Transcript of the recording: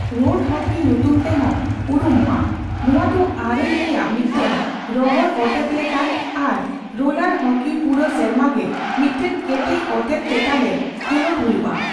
Road hockey ᱧᱩᱛᱩᱢ ᱛᱮᱦᱚᱸ ᱩᱨᱩᱢᱚᱜᱼᱟ, ᱱᱚᱣᱟ ᱫᱚ ᱟᱨᱮᱞ ᱨᱮᱭᱟᱜ ᱢᱤᱫᱴᱟᱝ ᱨᱚᱦᱚᱲᱼᱚᱛᱮᱛ ᱞᱮᱠᱟᱱ ᱟᱨ ᱨᱳᱞᱟᱨ ᱦᱚᱠᱤ ᱯᱩᱨᱟᱹ ᱥᱮᱨᱢᱟᱜᱮ ᱢᱤᱫᱴᱟᱝ ᱠᱮᱴᱮᱡ ᱚᱛᱮᱛ ᱪᱮᱛᱟᱱᱨᱮ ᱠᱷᱮᱞᱚᱸᱰ ᱦᱩᱭᱩᱜᱼᱟ ᱾